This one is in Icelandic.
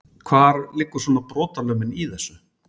Hvar liggur svona brotalömin í þessu?